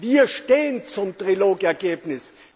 Wir stehen zum Trilog Ergebnis.